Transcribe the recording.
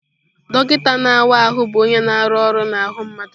Dọkịta na-awa ahụ bụ onye na-arụ ọrụ n'ahụ mmadụ.